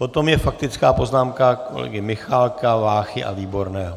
Potom je faktická poznámka kolegů Michálka, Váchy a Výborného.